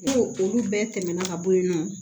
N'o olu bɛɛ tɛmɛna ka bɔ yen nɔ